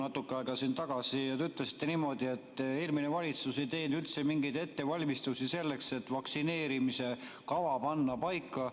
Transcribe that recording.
Natuke aega tagasi te ütlesite niimoodi, et eelmine valitsus ei teinud üldse mingeid ettevalmistusi selleks, et vaktsineerimise kava paika panna.